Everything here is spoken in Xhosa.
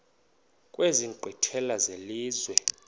kwezi nkqwithela zelizwe